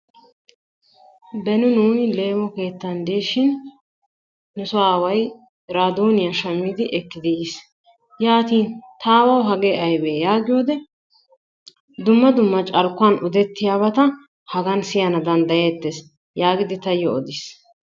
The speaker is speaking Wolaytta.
Beni nuuni leemo keettan de'ishin nu soo aaway iraadooniya shammidi ekkidi yiis. Yaatin ta aawawu hagee aybee yaagiyode dumma dumma carkkuwan odettiyabata hagan siyana danddayeettees yaagidi taayyo odiis.